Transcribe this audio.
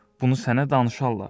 bunu sənə danışarlar.